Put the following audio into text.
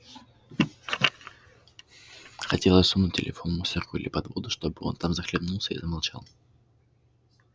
хотелось сунуть телефон в мусорку или под воду чтобы он там захлебнулся и замолчал